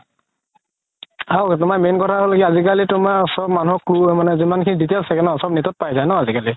আৰু তুমাৰ main কথা হ'ল আজি কালি তুমাৰ চ'ব মানুহৰ যিমান খিনি details থাকে ন net ত পাই যাই ন আজিকালি